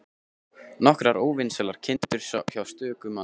Nokkrar óvinsælar kindur hjá stöku manni.